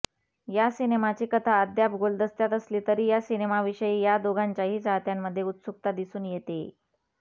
या सिनेमाची कथा अद्याप गुलदस्त्यात असली तरी या सिनेमाविषयी या दोघांच्याही चाहत्यांमध्ये उत्सुकता दिसून येतेय